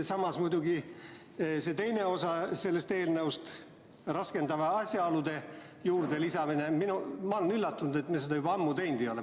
Samas muidugi see teine osa sellest eelnõust, raskendavate asjaolude lisamine – ma olen üllatunud, et me seda juba ammu teinud ei ole.